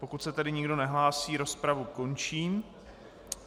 Pokud se tedy nikdo nehlásí, rozpravu končím.